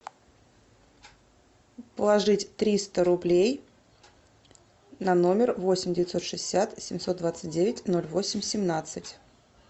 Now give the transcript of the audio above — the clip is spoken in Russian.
положить триста рублей на номер восемь девятьсот шестьдесят семьсот двадцать девять ноль восемь семнадцать